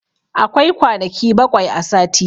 Akwai kwanaki baƙwai a sati.